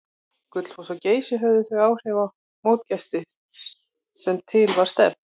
Gullfoss og Geysir höfðu þau áhrif á mótsgesti sem til var stefnt.